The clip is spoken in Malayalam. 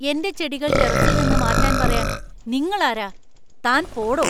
എന്‍റെ ചെടികൾ ടെറസിൽ നിന്ന് മാറ്റാൻ പറയാൻ നിങ്ങൾ ആരാ? താന്‍ പോടോ!